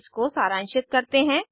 इसको सारांशित करते हैं